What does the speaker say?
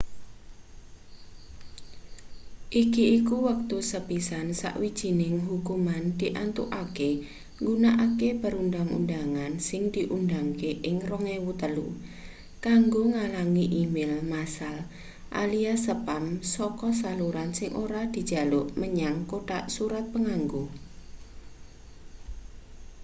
iki iku wektu sepisan sawijining hukuman diantukake nggunakake perundhang-undhangan sing diundhangke ing 2003 kanggo ngalangi e-mail massal alias spam saka saluran sing ora dijaluk menyang kothak surat panganggo